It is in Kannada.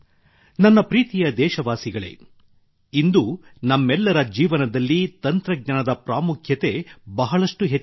ನನ್ನ ಪ್ರೀತಿಯ ದೇಶವಾಸಿಗಳೇ ಇಂದು ನಮ್ಮೆಲ್ಲರ ಜೀವನದಲ್ಲಿ ತಂತ್ರಜ್ಞಾನದ ಪ್ರಾಮುಖ್ಯತೆ ಬಹಳಷ್ಟು ಹೆಚ್ಚಾಗಿದೆ